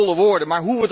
Al die holle woorden.